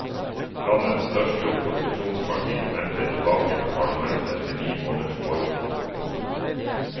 Landets største opposisjonsparti vendte tilbake til parlamentet etter ni måneders boikott. punktum